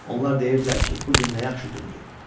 Onlar deyirdilər ki, bu gün nə yaxşı gündür.